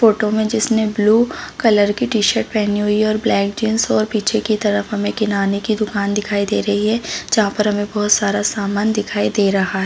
photo में जिसने blue colour की टी-शर्ट पेहनी हुई है और ब्लैक जीन्स और पीछे की तरफ हमे किनारे की दुकान दिखाई दे रही है जहाँ पे हमें बहुत सारा समान दिखाई दे रहा--